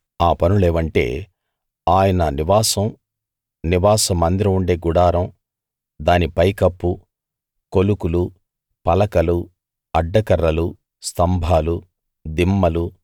ఆ పనులేవంటే ఆయన నివాసం నివాస మందిరం ఉండే గుడారం దాని పైకప్పు కొలుకులు పలకలు అడ్డ కర్రలు స్తంభాలు దిమ్మలు